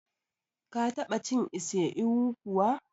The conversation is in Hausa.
Ka ta ba cin ise ewu kuwa?